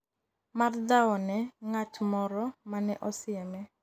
mar dhawo ne ng'at moro mane osieme